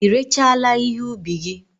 Ị rechaala ihe ụbi gi?